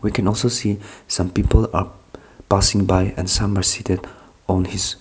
we can also see some people are passing by some other street on this--